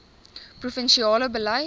provin siale beleid